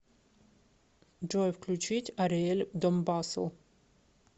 джой включить ариэль домбасл